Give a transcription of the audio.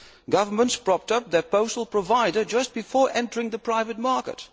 Governments propped up their postal provider just before entering the private market.